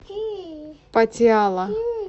патиала